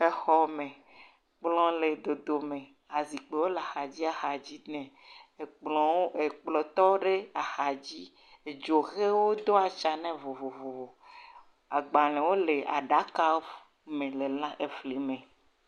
Exɔme. Kplɔ̃ le dodome. Azikpiwo le axadziaxadzi nɛ. Ekplɔ̃, ekplɔ̃ ɖe axadzi. Edzo ʋewo wodo atsã nɛ vovovovo. Agbalẽwo le aɖaka ƒu me le lãeŋ eflime